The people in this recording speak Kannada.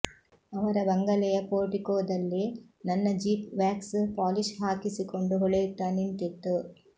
ಅವರ ಬಂಗಲೆಯ ಪೋರ್ಟಿಕೋದಲ್ಲಿ ನನ್ನ ಜೀಪ್ ವ್ಯಾಕ್ಸ್ ಪಾಲಿಶ್ ಹಾಕಿಸಿಕೊಂಡು ಹೊಳೆಯುತ್ತಾ ನಿಂತಿತ್ತು